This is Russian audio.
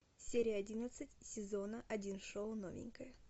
серия одиннадцать сезона один шоу новенькая